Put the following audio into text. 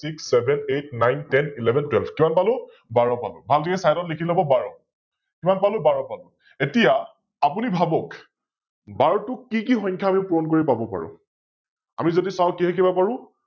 Six, Seven, Eight, Nine, Ten, Eleven, Twelve, কিমান পালো? বাৰ পালো, Side ত লিখি লৱ বাৰ ।কিমান পালো? বাৰ । এতিয়া আপুনি ভাৱক বাৰটোক আমি কি কি সংখ্যা পুৰণ কৰি পাব পাৰো? আমি যদি চাও কিহে কিহে পাৰো